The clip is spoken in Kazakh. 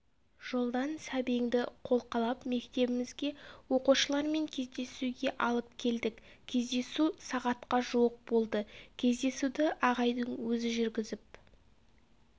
жолдан сәбеңді қолқалап мектебімізге оқушылармен кездесуге алып келдік кездесу сағатқа жуық болды кездесуді ағайдың өзі жүргізіп